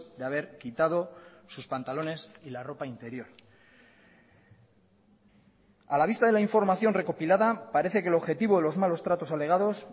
de haber quitado sus pantalones y la ropa interior a la vista de la información recopilada parece que el objetivo de los malos tratos alegados